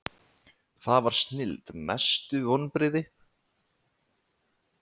það var snilld Mestu vonbrigði?